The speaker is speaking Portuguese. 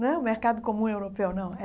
Não é o Mercado Comum Europeu, não. É